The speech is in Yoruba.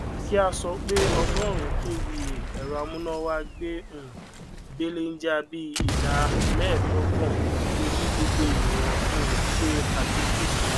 kí a sọ pé ọgórùnún kva èrọ amúnáwá gbé um belenja bí ìdá méèdógbòn torí gbogbo ènìyàn um ṣe àdínkù